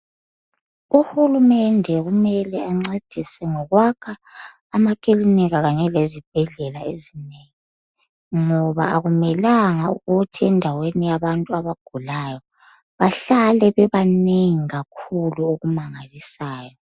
UHulumende kumele encedise ngokwakha amakilinika kanye lezibhedlela ezinengi ngoba akumelanga ukuthi endaweni yabantu abagulayo bahlale bebanengi kakhulu okumangalisayo.